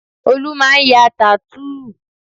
Olú máa ń ya tattoo